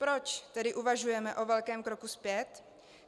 Proč tedy uvažujeme o velkém kroku zpět?